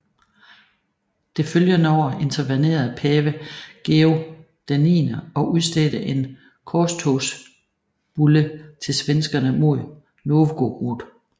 Det følgende år intervenerede pave Gregor XI og udstedte en korstogsbulle til svenskerne mod Novgorod